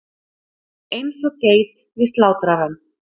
Eins og geit við slátrarann.